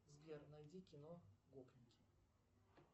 сбер найди кино гопники